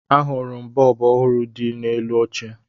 Ahụrụ m bọọbụ ọhụrụ dị n'elu oche